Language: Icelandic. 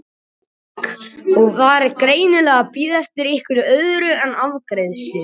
Hékk upp við vegg og var greinilega að bíða eftir einhverju öðru en afgreiðslu.